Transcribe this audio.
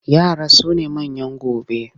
Yara su ne manyan gobe.